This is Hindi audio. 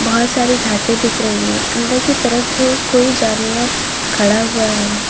बहुत सारी घासे दिख रही है अंदर की तरफ कोई जानवर खड़ा हुआ है।